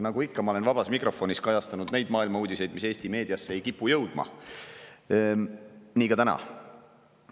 Nagu ma ikka olen vabas mikrofonis kajastanud neid maailma uudiseid, mis Eesti meediasse ei kipu jõudma, nii teen ka täna.